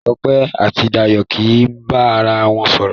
Sope àti Dayo kí bá àrà wọn sòrò.